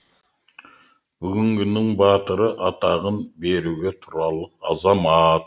бүгінгінің батыры атағын беруге тұрарлық азамат